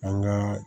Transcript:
An ka